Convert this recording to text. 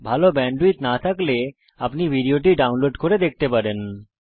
যদি ভাল ব্যান্ডউইডথ না থাকে তাহলে আপনি ভিডিওটি ডাউনলোড করে দেখতে পারেন